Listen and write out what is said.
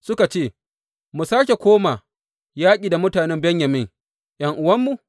Suka ce, Mu sāke koma yaƙi da mutanen Benyamin, ’yan’uwanmu?